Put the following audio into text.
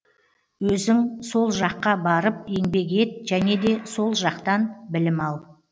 өзің со жаққа барып еңбек ет және де со жақтан білім ал